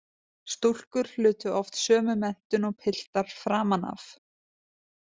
Stúlkur hlutu oft sömu menntun og piltar framan af.